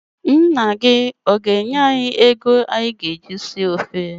Nna gị ana-enye anyị ego anyị ga-eji si ofe?